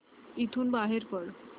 इथून बाहेर पड